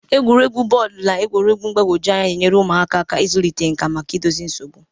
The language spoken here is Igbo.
Egwuregwu bọọdụ na egwuregwu mgbagwoju anya na-enyere ụmụaka aka ịzụlite nkà idozi nsogbu.